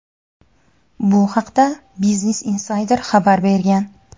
Bu haqda "Business Insider" xabar bergan.